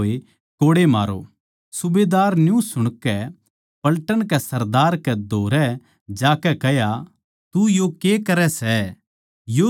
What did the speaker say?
सूबेदार नै न्यू सुणकै पलटन के सरदार कै धोरै जाकै कह्या तू यो के करै सै यो तो रोमी माणस सै